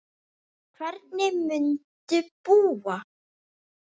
Hvernig muntu búa?